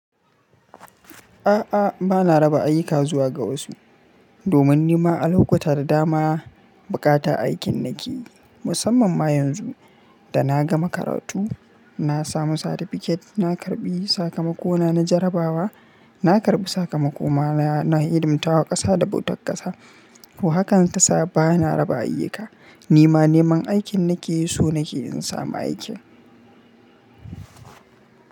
A'a, bana raba ayyuka zuwa ga wasu. Domin ni ma a lokuta da dama bukata aikin nake. Musamman ma yanzu da na gama karatu, na samu certificate, na karɓi sakamakona, na jarabawa, na karɓi sakamakona na ilimtawa ƙasa da bautar ƙasa. To haka tasa ba na raba ayyuka. Ni ma neman aikin nake so nake in samu aiki.